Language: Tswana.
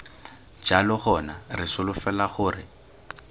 jalo gona re solofela gore